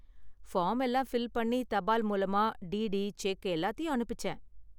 Form எல்லாம் fill பண்ணி, தபால் மூலமா டிடி, செக் எல்லாத்தையும் அனுப்பிச்சேன்.